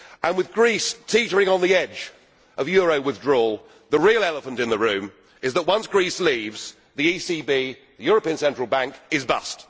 With Greece teetering on the edge of euro withdrawal, the real elephant in the room is that once Greece leaves, the European Central Bank, is bust.